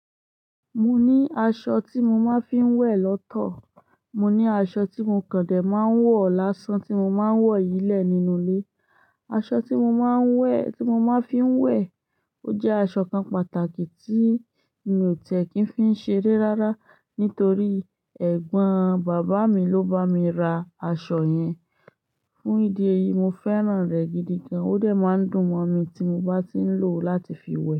Mo ní aṣọ tí mo máa ń fi ń wẹ̀ lọ́tọ̀, mo ní aṣọ tí mo kàn dé máa ń wọ̀ lásán tí mo máa ń wọ̀ yilé nínú ilé. Aṣọ tí mo máa ń wẹ̀, tí mo máa ń fi ń wẹ̀, ó jẹ́ aṣọ kan pàtàkì tí mi ò tẹ̀ kí ń fi ń ṣeré rárá nítorí ẹ̀gbọ́n bàbá mi ló bá mi ra aṣọ yẹn. Fún ìdí èyí, mo fẹ́ràn rẹ̀ gidi gan. Ó dẹ̀ máa ń dùn mọ́ mi tí mo bá ti ń lò ó láti fi wẹ̀.